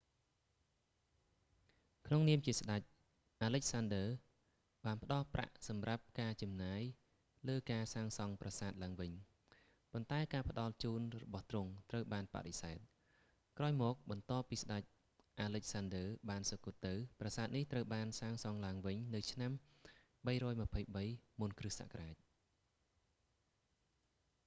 ក្នុងនាមជាស្តេច អាឡិចសាន់ឌឺ alexander បានផ្តល់ប្រាក់សម្រាប់ការចំណាយលើសាងសង់ប្រាសាទឡើងវិញ ប៉ុន្តែការផ្តល់ជូនរបស់ទ្រង់ត្រូវបានបដិសេធ ក្រោយមកបន្ទាប់ពីស្តេចអាឡិចសាន់ឌឺបានសុគតទៅ ប្រាសាទនេះត្រូវបានសាងសង់ឡើងវិញនៅឆ្នាំ323 មុនគ្រិស្តសករាជ